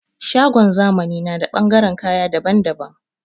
Shagon zamani na da ɓangaren kayan dabban dabban